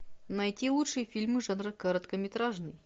найти лучшие фильмы жанра короткометражный